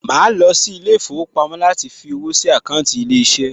Màá lọ sí ilé ìfowópamọ́ láti fí owó sí àkáńtì ilé iṣẹ́